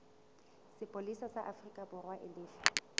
sepolesa sa aforikaborwa e lefe